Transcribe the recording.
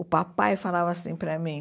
O papai falava assim para mim...